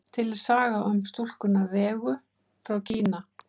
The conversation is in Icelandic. Til er saga um stúlkuna Vegu frá Kína.